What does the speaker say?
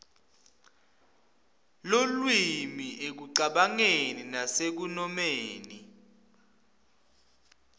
lulwimi ekucabangeni nasekunomeni